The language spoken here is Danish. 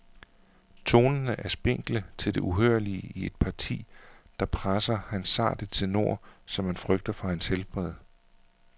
Tonerne er spinkle til det uhørlige i et parti, der presser hans sarte tenor, så man frygter for hans helbred.